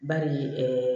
Bari